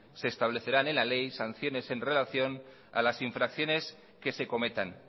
se establecerá en la ley sanciones en relación a las infracciones que se cometan